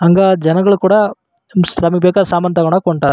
ಹಂಗ ಜನಗಳು ಕೂಡ ನಮಗೆ ಬೇಕಾದ್ ಸಾಮಾನ್ ತಗೋಳಕ್ ಹೊಂಟರ್--